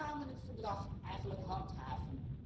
En hoe gaan we het verdrag eigenlijk handhaven?